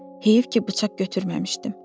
Heyf ki, bıçaq götürməmişdim.